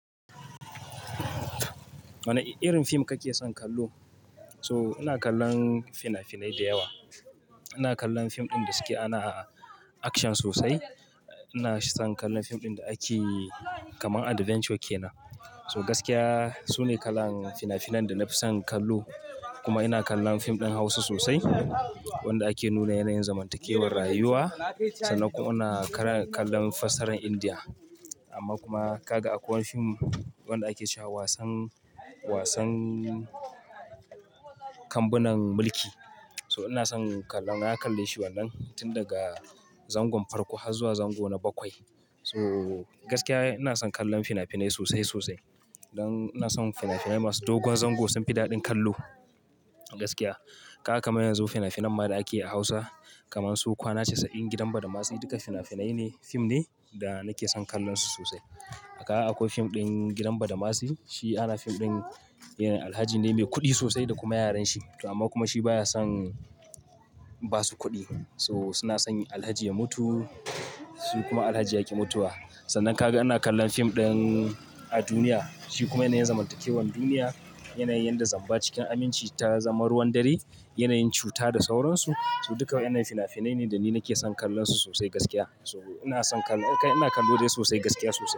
Wane irin fim kake son kallo? So ina kallon fina-finai da yawa. Ina kallon fim ɗin da suke ana action sosai. Ina son kallon fim ɗin da ake kaman adventure ke nan. So gaskiya, su ne kalan fina-finan da na fi son kallo. Kuma ina kallon fim ɗin Hausa sosai, wanda ake nuna yanayin zamantakewar rayuwa. Sannan kuma ina kallon fasarar India. Amma kuma kaga akwai fim wanda ake cewa wasan, wasan kambunan mulki. So ina son kallon, na kalle shi wannan tun daga zangon farko har zuwa zango na bakwai. So gaskiya ina son kallon fina-finai sosai, sosai. Don ina son fina-finai masu dogon zango sun fi daɗin kallo a gaskiya. Kaga kamar yanzu fina-finan mara ake a Hausa kaman su "Kwana casa'in", "Gidan badamasi", duka fina-finai ne, fim ne da nake son kallon su sosai. A haka akwai fim ɗin gidan badamasi. Shi ana fim ɗin yane Alhaji ne mai kuɗi sosai da kuma yaran shi. Amma kuma shi baya son ba su kuɗi. So suna son Alhaji ya mutu. Shi kuma Alhaji ya ƙi mutuwa. Sannan kaga ina kallon fim ɗin a duniya. Shi kuma yanayin zamantakewan duniya, yanayin yadda zamba cikin aminci ta zama ruwan dare, yanayin cuta da sauransu. So duka wa'inan fina-finai ne da ni nake son kallon su sosai gaskiya. So ina son kallo, ina kallo dai sosai gaskiya sosai.